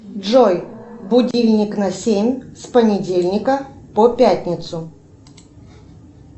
джой будильник на семь с понедельника по пятницу